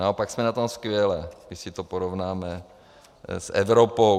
Naopak jsme na tom skvěle, když si to porovnáme s Evropou.